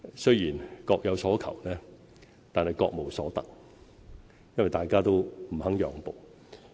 雖然各有所求，但各無所得，因為大家都不肯讓步。